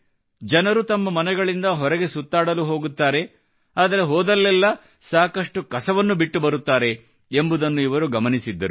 ಜನರು ತಮ್ಮ ಮನೆಗಳಿಂದ ಹೊರಗೆ ಸುತ್ತಾಡಲು ಹೋಗುತ್ತಾರೆ ಆದರೆ ಹೋದಲ್ಲೆಲ್ಲ ಸಾಕಷ್ಟು ಕಸವನ್ನು ಬಿಟ್ಟು ಬರುತ್ತಾರೆ ಎಂಬುದನ್ನು ಇವರು ಗಮನಿಸಿದ್ದರು